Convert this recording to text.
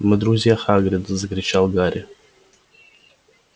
мы друзья хагрида закричал гарри